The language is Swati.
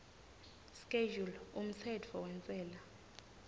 schedule umtsetfo wentsela